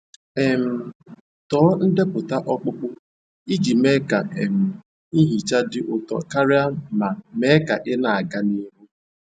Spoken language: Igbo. um Tọọ ndepụta ọkpụkpọ iji mee ka um nhicha dị ụtọ karịa ma mee ka ị na-aga n'ihu.